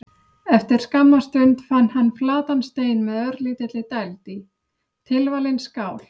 Eftir skamma stund fann hann flatan stein með örlítilli dæld í: tilvalin skál.